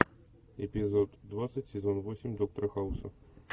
эпизод двадцать сезон восемь доктора хауса